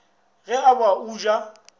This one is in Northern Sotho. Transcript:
ge e ba o ja